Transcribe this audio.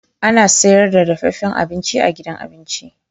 Ana sayar da dafaffen abinci a gidan abin ci.